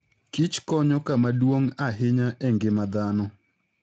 kich konyo kama duong' ahinya e ngima dhano.